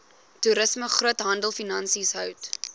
toerisme groothandelfinansies hout